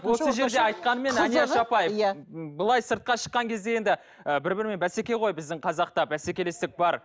осы жерде айтқанмен әлияш апай иә былай сыртқа шыққан кезде енді ы бір бірімен бәсеке ғой біздің қазақта бәсекелестік бар